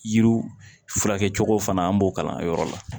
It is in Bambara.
Yiriw furakɛcogo fana an b'o kalan yɔrɔ la